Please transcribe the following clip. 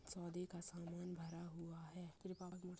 सौदे का सामान भरा हुआ है। ]